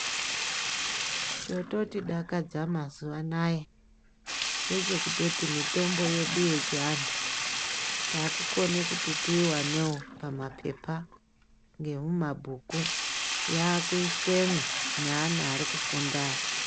Chototidakadza mazuva anaya ngechekutoti mitombo yedu yechiantu. Takukone kuti tiivanevo pamapepa ngemuma bhuku yakuiswemwo neana ari kufunda.